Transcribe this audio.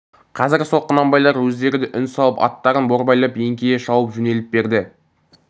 қазір сол құнанбайлар өздері де үн салып аттарын борбайлап еңкейе шауып жөнеліп берді